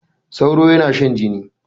Sauro yana shan jini.